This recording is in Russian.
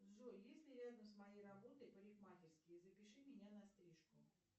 джой есть ли рядом с моей работой парикмахерские запиши меня на стрижку